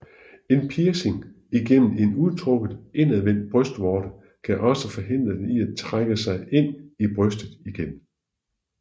En piercing igennem en udtrukket indadvendt brystvorte kan også forhindre den i at trække sig ind i brystet igen